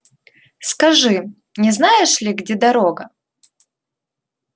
скажи не знаешь ли где дорога